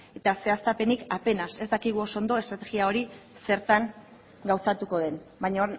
eta zehaztapenik apenas ez dakigu oso ondo estrategia hori zertan gauzatuko den baina